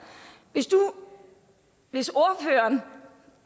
hvis ordføreren